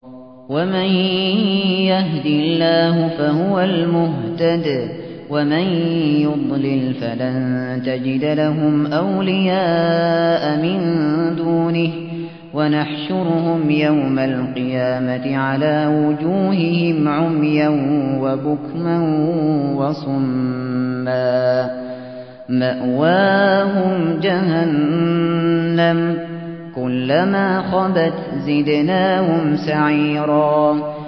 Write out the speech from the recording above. وَمَن يَهْدِ اللَّهُ فَهُوَ الْمُهْتَدِ ۖ وَمَن يُضْلِلْ فَلَن تَجِدَ لَهُمْ أَوْلِيَاءَ مِن دُونِهِ ۖ وَنَحْشُرُهُمْ يَوْمَ الْقِيَامَةِ عَلَىٰ وُجُوهِهِمْ عُمْيًا وَبُكْمًا وَصُمًّا ۖ مَّأْوَاهُمْ جَهَنَّمُ ۖ كُلَّمَا خَبَتْ زِدْنَاهُمْ سَعِيرًا